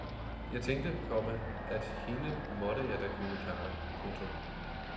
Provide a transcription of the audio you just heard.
Jeg tænkte, komma at hende måtte jeg da kunne klare. punktum